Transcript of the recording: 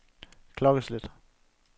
klokkeslæt